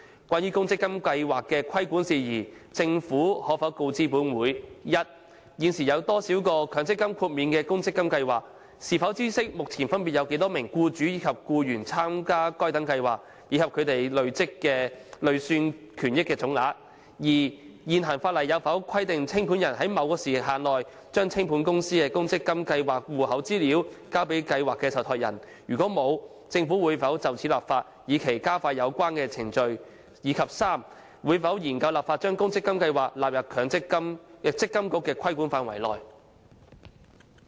關於公積金計劃的規管事宜，政府可否告知本會：一現時有多少個獲強積金豁免的公積金計劃；是否知悉目前分別有多少名僱主和僱員參加該等計劃，以及它們的累算權益總額；二現行法例有否規定清盤人須在某時限內把清盤公司的公積金計劃戶口資料送交計劃受託人；如否，政府會否就此立法，以期加快有關程序；及三會否研究立法把公積金計劃納入積金局的規管範圍？